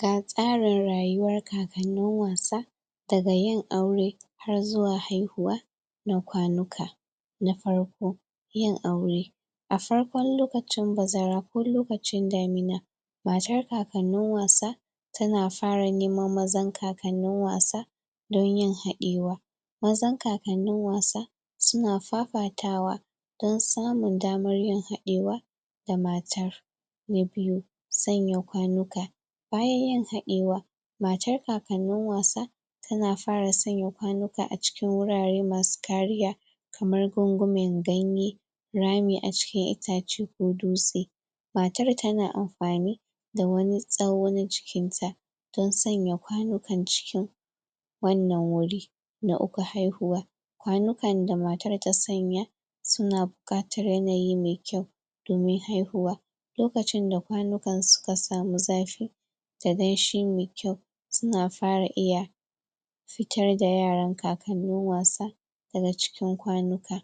Ga tsarin rayuwar kakanin wasa daga yin aure har zuwa haihuwa na kwanuka na farko yin aure. A farkon lokacin bazara ko lokacin damina matar kakanin wasa ta na fara neman mazan kakanin wasa don yin haɗewa mazan kakanin wasa su na fafatawa don samun damar yin haɗewa da matar na biyu, tsanya kwanuka bayan yin haɗewa, matar kakanin wasa ta na fara tsanya kwanuka a cikin wurare masu kariya kamar gungunmin ganye rami a cikin itace ko dutse matar ta na amfani da wani tsawo na jikin ta dan tsanya kwanuka cikin wannan wuri. Na uku haihuwa kwanukar da mata ta tsanya su na bukatar yanayi mai kyau domin haihuwa lokacin da kwanukan su ka samu zafi da ganshi mai kyau, su na fara iya fitar da yaran kakanin wasa da ga cikin kwanuka.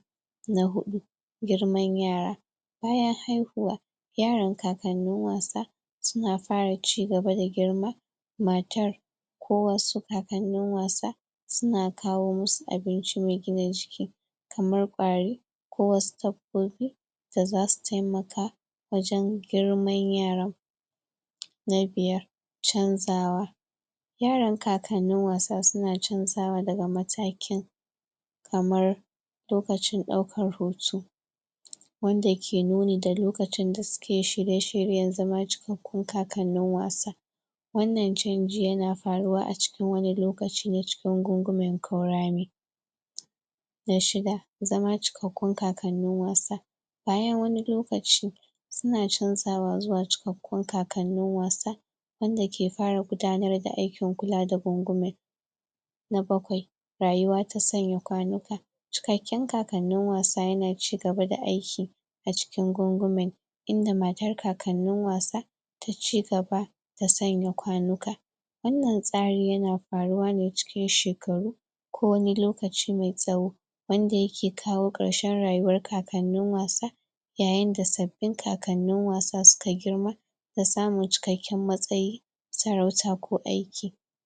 Na hudu Girman yara, bayan haihuwa yaran kakanin wasa su na fara cigaba da girma, matar kowa su kakanin wasa su na kawo musuabinci na gina jiki kamar kwari, ko wasu dabbobi da za su taimaka wajen girmar yaran. Na biyar canzawa yaran kakanin wasa su na canzawa da ga matakin kamar lokacin daukar hoto wanda ke noni da lokacin da su ke shirye-shiryen zama cikkakun kakanin wasa Wannan canji ya na faruwa a cikin wanin lokaci na cikin gungumin kaurami Na shidda, zama cikkakun kakanin wasa bayan wani lokaci suna canzawa zuwa cikkakun kakanin wasa wanda ke fara gudanar da aikin kula da gungumin Na bakwai, rayuwa ta tsanya kwanuka cikkaken kakanin wasa ya na cigaba da aiki a cikin gungumin, inda matar kakanin wasa da cigaba da tsanya kwanuka wannan tsari ya na faruwa ne cikin shekaru ko wani lokaci mai tsawo wanda ya ke kawo karshen rayuwar kakanin wasa yayain da sabbin kakanin wasa su ka girma da samun cikkakiyar matsayi., sarauta ko aiki.